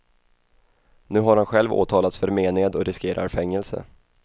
Nu har han själv åtalats för mened och riskerar fängelse.